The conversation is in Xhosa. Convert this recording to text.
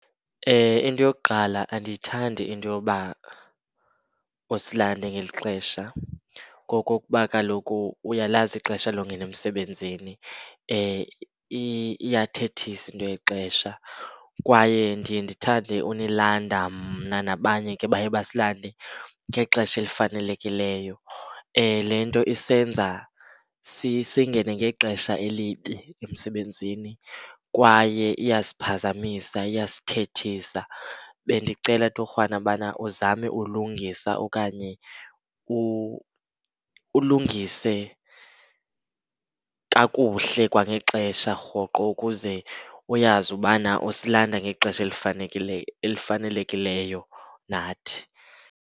Into yokuqala, andiyithandi into yoba usilande ngeli xesha ngokokuba kaloku uyalazi ixesha longena emsebenzini, iyathethisa into yexesha. Kwaye ndiye ndithande unilanda mna, nabanye ke baye basilande, ngexesha elifanelekileyo. Le nto isenza singene ngexesha elibi emsebenzini kwaye iyasiphazamisa, iyasithethisa. Bendicela torhwana ubana uzame ulungisa okanye ulungise kakuhle kwangexesha rhoqo, ukuze uyazi ubana usilanda ngexesha elifanelekileyo nathi.